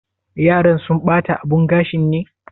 Yaran sun bata abun gashin ne?